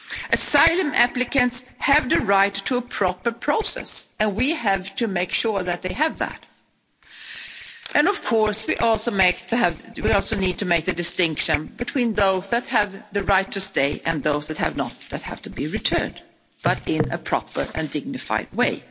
Asylum applicants have the right to a proper process, and we have to make sure that they have that. Of course, we also have to make a distinction between those who have the right to stay, and those who have not and have to be returned, but in a proper and dignified way.